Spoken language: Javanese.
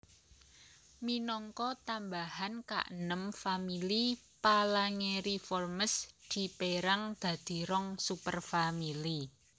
Minangka tambahan kaenem famili Phalangeriformes dipérang dadi rong superfamili